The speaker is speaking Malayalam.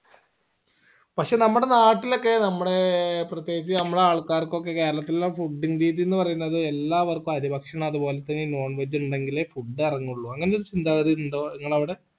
പഷേ നമ്മളെ നാട്ടിലൊക്കെ നമ്മടെ പ്രതേകിച് നമ്മളെ ആൾക്കാർകൊക്കെ കേരളത്തിലുള്ള fooding രീതി എന്ന് പറയുന്നത് എല്ലാവർക്കും അരി ഭക്ഷണം അത് പോലെ തന്നെ ഈ non veg ഇണ്ടേങ്കിലേ food എറങ്ങുള്ളൂ അങ്ങനത്തെ ഒരു ചിന്താഗതി ഉണ്ടോ നിങ്ങടവിടെ